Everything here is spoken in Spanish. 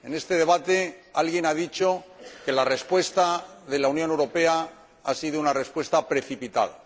En este debate alguien ha dicho que la respuesta de la Unión Europea ha sido una respuesta precipitada.